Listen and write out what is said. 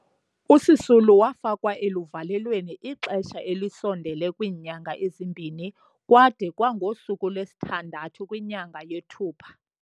uSisulu wafakwa eluvalelweni ixesha elisondele kwiinyanga ezimbini kwade kwangosuku lwesithandathu, 6, kwinyanga yeThupha.